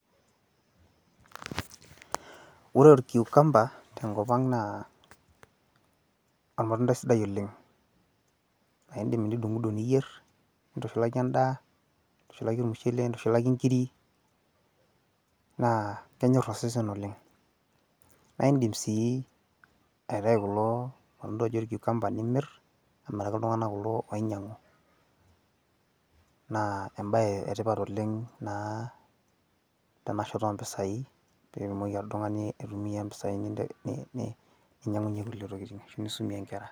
ore orkiukamba te nkop ang naa olmatundai sidai oleng, naidim nidung'dung nintushulaki edaa, nintushulaki ormushele, nintushulaki nkiri, naa kenyor osesen oleng. naa idim sii aitayu kulo tokitin ooji olkukamba nimir, amiraki iltunganak ooinyiang'u. naa ebae etipat oleng tenashoto oo mpisai nidim oltungani anoto mpisai nisumie nkera.